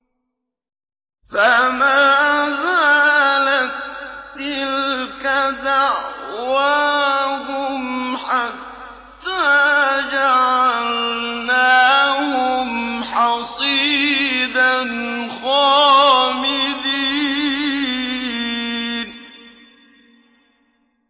فَمَا زَالَت تِّلْكَ دَعْوَاهُمْ حَتَّىٰ جَعَلْنَاهُمْ حَصِيدًا خَامِدِينَ